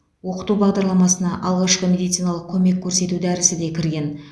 оқыту бағдарламасына алғашқы медициналық көмекті көрсету дәрісі де кірген